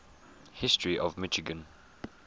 history of michigan